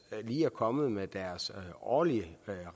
lige er kommet med deres årlige